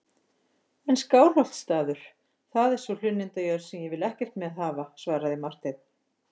En Skálholtsstaður, það er sú hlunnindajörð sem ég vil ekkert með hafa, svaraði Marteinn.